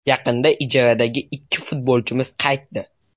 Yaqinda ijaradagi ikki futbolchimiz qaytdi.